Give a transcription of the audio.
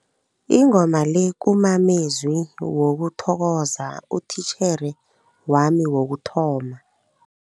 Ingoma le kumamezwi wokuthokoza utitjhere wami wokuthoma.